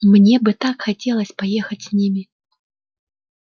мне бы так хотелось поехать с ними